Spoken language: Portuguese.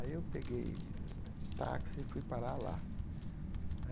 Aí eu peguei um táxi e fui parar lá.